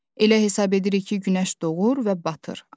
Elə hesab edirik ki, günəş doğur və batır.